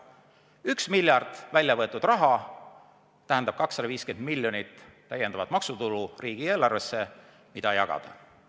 Üks miljard väljavõetud raha tähendab 250 miljonit täiendavat maksutulu riigieelarvesse, mida saaks jagada.